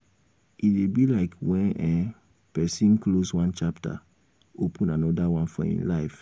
e dey be like when um person um close one chapter um open anoda one for im life